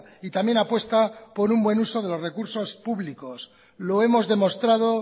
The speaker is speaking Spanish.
y también apuesta por un buen uso de los recursos públicos lo hemos demostrado